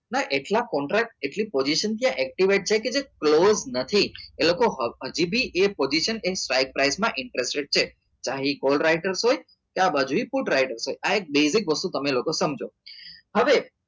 એટલા contract એટલી position છે activate છે જે provide નથી એટલે કે તે લોકો હજુ બી એક position એક સાઈ write માં interested છે તે full writer છે આ બાજુ full writer હોય આ એક basic વસ્તુ તમે લોકો સમજો હવે